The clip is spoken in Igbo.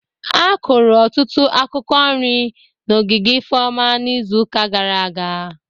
A kụrụ ọtụtụ akwụkwọ nri n'ogige Ifeoma n'izuụka gara aga